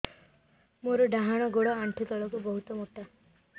ମୋର ଡାହାଣ ଗୋଡ ଆଣ୍ଠୁ ତଳୁକୁ ବହୁତ ମୋଟା